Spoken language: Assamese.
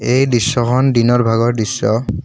এই দৃশ্যখন দিনৰ ভাগৰ দৃশ্য।